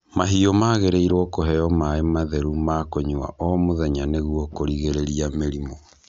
Mahiũ magĩrĩirwo kũheo maaĩ matheru ma kũnyua o mũthenya nĩgũo kũrigĩrĩrĩa mĩrimũ.